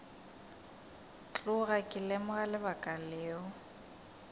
tloga ke lemoga lebaka leo